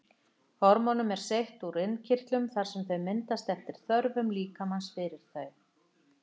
Hormónum er seytt úr innkirtlunum þar sem þau myndast eftir þörfum líkamans fyrir þau.